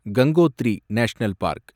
Gangotri national park